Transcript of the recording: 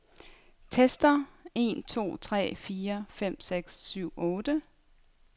Tester en to tre fire fem seks syv otte.